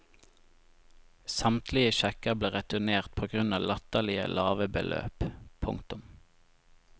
Samtlige sjekker ble returnert på grunn av latterlige lave beløp. punktum